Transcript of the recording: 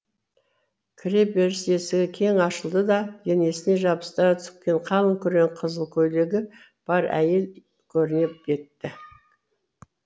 кіре беріс есігі кең ашылды да денесіне жабыстыра тіккен қалың күрең қызыл көйлегі бар әйел көріне кетті